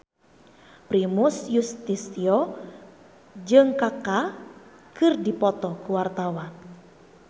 Primus Yustisio jeung Kaka keur dipoto ku wartawan